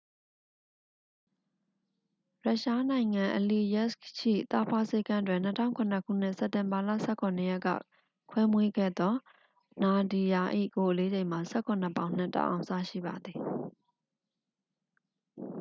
ရုရှားနိုင်ငံ အလီယက်စ်ခ် ရှိ သားဖွားဆေးခန်းတွင် 2007 ခုနှစ် စက်တင်ဘာလ 17 ရက်က ခွဲမွေးခဲ့သော နာဒီယာ ၏ကိုယ်အလေးချိန်မှာ 17 ပေါင်နှင့် 1 အောင်စရှိပါသည်